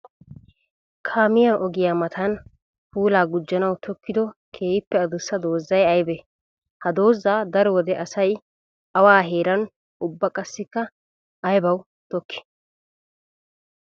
Kaamiya ogiya matan puula gujjanawu tokiddo keehippe adussa doozay aybbe? Ha dooza daro wode asay awa heeran ubba qassikka aybbawu tokki?